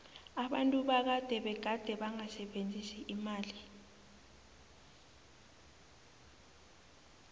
abantu bakade begade bangasebenzisi imali